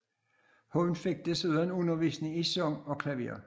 Hun fik desuden undervisning i sang og klaver